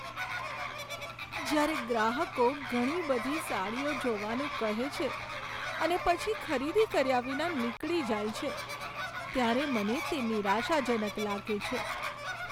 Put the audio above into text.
જ્યારે ગ્રાહકો ઘણી બધી સાડીઓ જોવાનું કહે છે અને પછી ખરીદી કર્યા વિના નીકળી જાય છે, ત્યારે મને તે નિરાશાજનક લાગે છે.